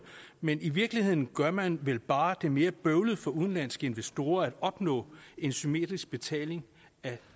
men i virkeligheden gør man vel bare mere bøvlet for udenlandske investorer at opnå en symmetrisk betaling af